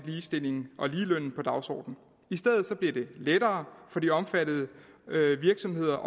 ligestilling og ligeløn på dagsordenen i stedet bliver det lettere for de omfattede virksomheder